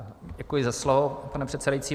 Děkuji za slovo, pane předsedající.